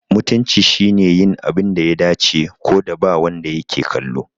Mutunci shine yin abin da ya dace, ko da ba wanda yake kallo.